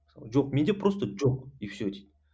жоқ менде просто жоқ и все дейді